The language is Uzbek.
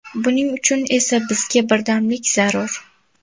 Buning uchun esa bizga birdamlik zarur.